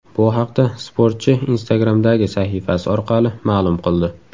Bu haqda sportchi Instagram’dagi sahifasi orqali ma’lum qildi.